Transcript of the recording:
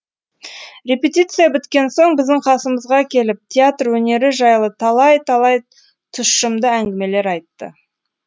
репетиция біткен соң біздің қасымызға келіп театр өнері жайлы талай талай тұщымды әңгімелер айтты